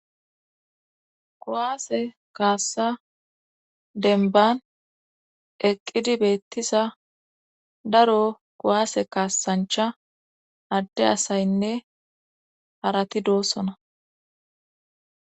Kuwaase kaassa denban eqqidi beettisa daro kuwaase kaassanchcha adde asaynne harati doossona